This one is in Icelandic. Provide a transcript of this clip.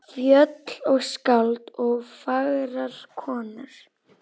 Fjöll og skáld og fagrar konur.